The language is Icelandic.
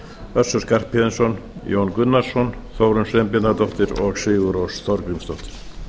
össur skarphéðinsson jón gunnarsson þórunn sveinbjarnardóttir og sigurrós þorgrímsdóttir